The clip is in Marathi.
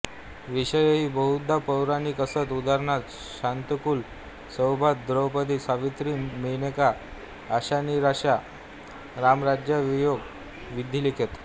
विषयही बहुधा पौराणिक असत उदा शाकुंतल सौभद्र द्रौपदी सावित्री मेनका आशानिराशा रामराज्यवियोग विधिलिखित